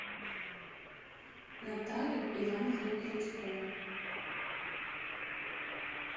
наталью ивановну крючкову